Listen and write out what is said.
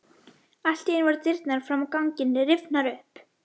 Allt í einu voru dyrnar fram á ganginn rifnar upp.